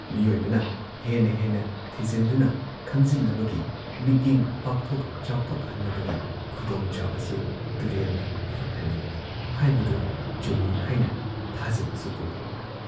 ꯃꯤꯑꯣꯏꯕꯅ ꯍꯦꯟꯅ ꯍꯦꯟꯅ ꯊꯤꯖꯤꯟꯗꯨꯅ, ꯈꯪꯖꯤꯟꯅꯕꯒꯤ, ꯃꯤꯠꯌꯦꯡ ꯄꯥꯛꯊꯣꯛ ꯆꯥꯎꯊꯣꯛꯍꯟꯅꯕꯒꯤ ꯈꯨꯗꯣꯡꯆꯥꯕꯁꯨ ꯇꯨꯔꯦꯜꯅ ꯐꯪꯍꯜꯂꯤꯕꯅꯤ" ꯍꯥꯏꯕꯗꯨ ꯆꯨꯝꯏ ꯍꯥꯏꯅ ꯊꯥꯖꯕꯁꯨ ꯄꯣꯜꯂꯤ